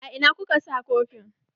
A ina kuka sa kofin?